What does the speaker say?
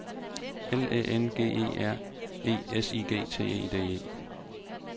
L Æ N G E R E S I G T E D E